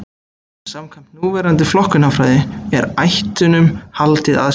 Samkvæmt núverandi flokkunarfræði er ættunum haldið aðskildum.